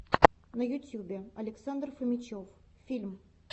на ютюбе александр фомичев фильм